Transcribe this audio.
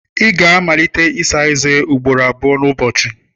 Ị ga-amalite ịsa eze ugboro abụọ n'ụbọchị.